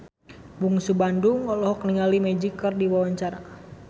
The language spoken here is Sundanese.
Bungsu Bandung olohok ningali Magic keur diwawancara